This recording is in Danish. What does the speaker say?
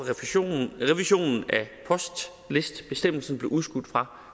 revisionen af postlistebestemmelsen blev udskudt fra